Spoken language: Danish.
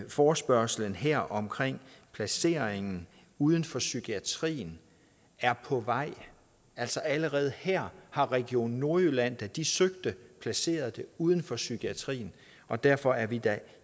forespørgslen her omkring placeringen uden for psykiatrien er på vej altså allerede her har region nordjylland da de søgte placeret det uden for psykiatrien og derfor er vi da